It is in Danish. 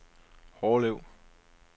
Hårlev